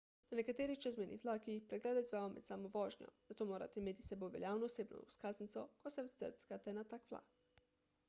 na nekaterih čezmejnih vlakih preglede izvajajo med samo vožnjo zato morate imeti s sabo veljavno osebno izkaznico ko se vkrcate na tak vlak